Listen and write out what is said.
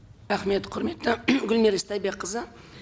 рахмет құрметті гүлмира истайбекқызы